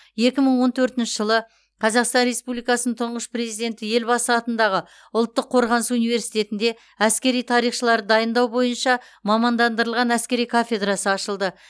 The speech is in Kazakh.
екі мың он төртінші жылы қазақстан республикасының тұңғыш президенті елбасы атындағы ұлттық қорғаныс университетінде әскери тарихшыларды дайындау бойынша мамандандырылған әскери кафедрасы ашылды